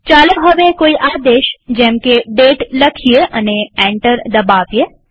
ચાલો હવે કોઈ આદેશ જેમકે દાતે લખીએ અને એન્ટર દબાવીએ